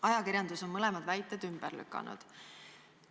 Ajakirjandus on mõlemad väited ümber lükanud.